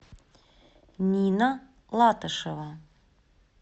нина латышева